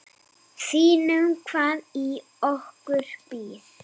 Sýnum hvað í okkur býr.